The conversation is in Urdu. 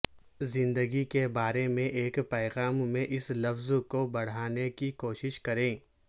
زندگی کے بارے میں ایک پیغام میں اس لفظ کو بڑھانے کی کوشش کریں